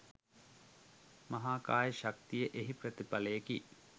මහාකාය ශක්තිය එහි ප්‍රතිඵලයකි.